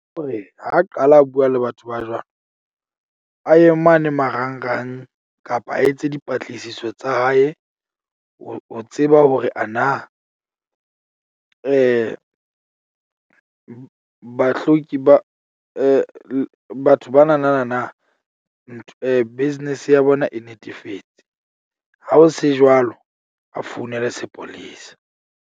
Hore ha qala a bua le batho ba jwalo. A ye mane marangrang kapa a etse dipatlisiso tsa hae, ho tseba hore ana bahloki ba batho ba na na na . Business ya bona e netefetse, ha ho se jwalo. A founele sepolesa.